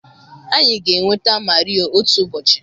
anyị ga-enweta Mario otu ụbọchị.